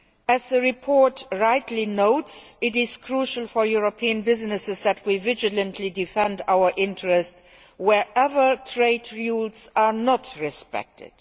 As the report rightly notes, it is crucial for European businesses that we vigilantly defend our interests whenever trade rules are not respected.